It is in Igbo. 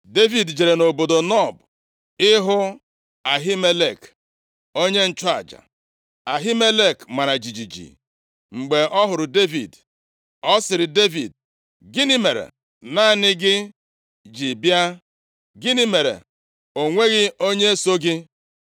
Devid jere nʼobodo Nob ịhụ Ahimelek, onye nchụaja. Ahimelek mara jijiji mgbe ọ hụrụ Devid. Ọ sịrị Devid, “Gịnị mere naanị gị ji bịa? Gịnị mere o nweghị onye so gị?”